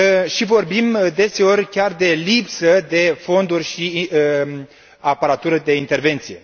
și vorbim deseori chiar de lipsă de fonduri și aparatură de intervenție.